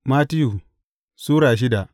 Mattiyu Sura shida